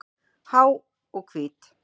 Há og hvít.